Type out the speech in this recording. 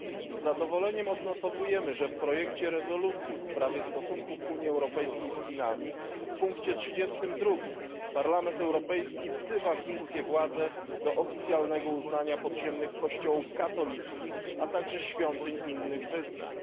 Z zadowoleniem odnotowujemy, że w projekcie rezolucji w sprawie stosunków Unii Europejskiej z Chinami w punkcie 32 Parlament Europejski wzywa władze chińskie do oficjalnego uznania podziemnych Kościołów katolickich, a także świątyń innych wyznań.